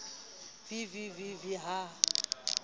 v v v v ha